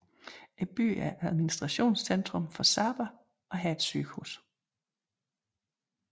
Byen er administrationscentrum for Saba og har et sygehus